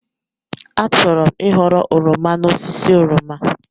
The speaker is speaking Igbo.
Achọrọ m ịghọrọ oroma n'osisi oroma.